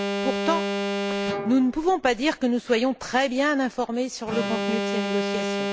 Pourtant, nous ne pouvons pas dire que nous soyons très bien informés du contenu de ces négociations.